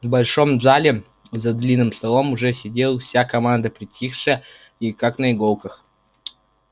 в большом зале за длинным столом уже сидела вся команда притихшая и как на иголках